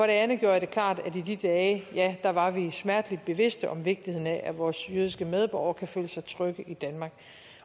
andet gjorde jeg det klart at i de dage var var vi smerteligt bevidst om vigtigheden af at vores jødiske medborgere kunne føle sig trygge i danmark